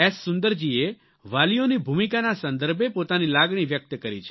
સુંદરજીએ વાલીઓની ભૂમિકાના સંદર્ભે પોતાની લાગણી વ્યક્ત કરી છે